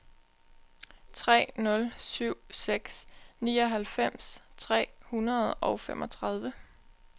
tre nul syv seks nioghalvfems tre hundrede og femogtredive